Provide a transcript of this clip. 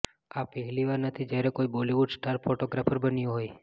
આ પહેલી વાર નથી જ્યારે કોઈ બોલિવૂડ સ્ટાર ફોટોગ્રાફર બન્યું હોય